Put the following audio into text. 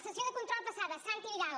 sessió de control passada santi vidal